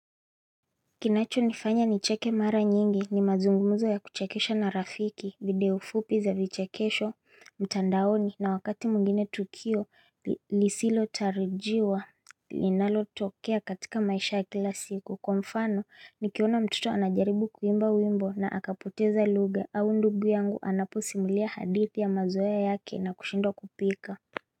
Kinacho nifanya nicheke mara nyingi ni mazungumuzo ya kuchekesha na rafiki video fupi za vichekesho mtandaoni na wakati mwingine tukio lisilo tarajiwa Linalotokea katika maisha ya kila siku kwa mfano nikiona mtoto anajaribu kuimba wimbo na akapoteza lugha au ndugu yangu anaposimulia hadithi ya mazoea yake na kushindwa kupika.